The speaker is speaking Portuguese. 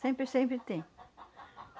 Sempre, sempre tem.